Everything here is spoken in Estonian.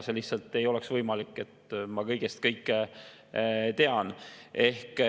See lihtsalt ei ole võimalik, et ma kõigest kõike tean.